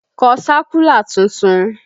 Kọ sákúlà tuntun!